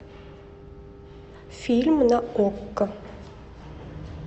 фильм на окко